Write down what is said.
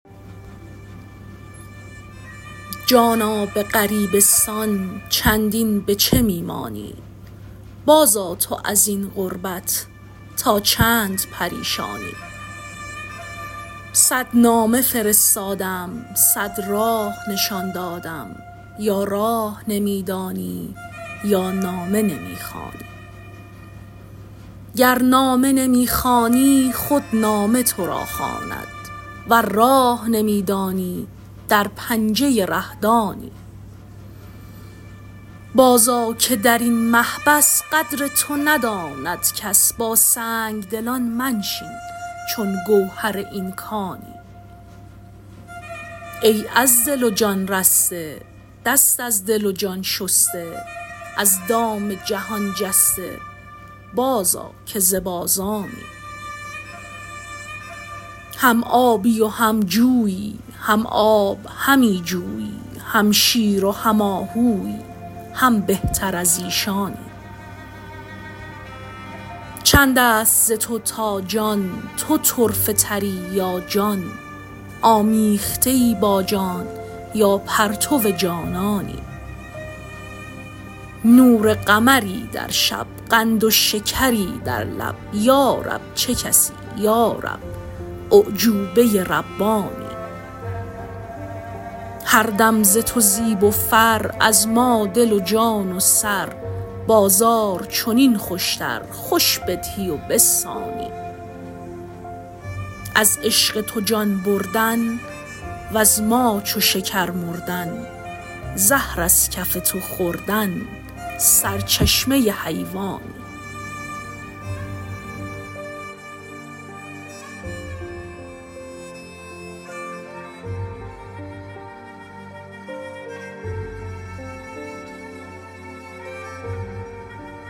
جانا به غریبستان چندین به چه می مانی بازآ تو از این غربت تا چند پریشانی صد نامه فرستادم صد راه نشان دادم یا راه نمی دانی یا نامه نمی خوانی گر نامه نمی خوانی خود نامه تو را خواند ور راه نمی دانی در پنجه ره-دانی بازآ که در آن محبس قدر تو نداند کس با سنگ دلان منشین چون گوهر این کانی ای از دل و جان رسته دست از دل و جان شسته از دام جهان جسته بازآ که ز بازانی هم آبی و هم جویی هم آب همی جویی هم شیر و هم آهویی هم بهتر از ایشانی چند است ز تو تا جان تو طرفه تری یا جان آمیخته ای با جان یا پرتو جانانی نور قمری در شب قند و شکری در لب یا رب چه کسی یا رب اعجوبه ربانی هر دم ز تو زیب و فر از ما دل و جان و سر بازار چنین خوشتر خوش بدهی و بستانی از عشق تو جان بردن وز ما چو شکر مردن زهر از کف تو خوردن سرچشمه حیوانی